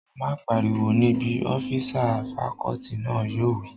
Má pariwo níbí! ọ́físà fakọọti náà yóò wí